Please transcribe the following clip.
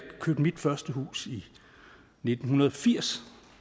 købte mit første hus i nitten firs